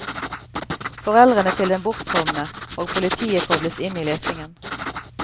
Foreldrene til den bortkomne og politiet kobles inn i letingen.